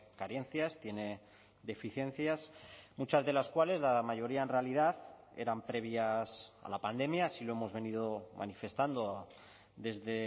carencias tiene deficiencias muchas de las cuales la mayoría en realidad eran previas a la pandemia así lo hemos venido manifestando desde